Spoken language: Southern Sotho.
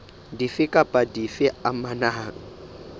dife kapa dife tse amanang